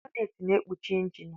Bọnnet na ekpuchi injinu.